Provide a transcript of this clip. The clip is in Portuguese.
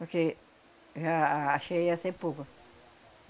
Porque já a cheia ia ser.